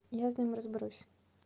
я с ним разберусь